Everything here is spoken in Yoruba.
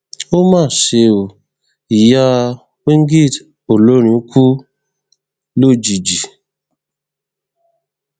ó mà ṣe o ìyá wingid olórin kù lójijì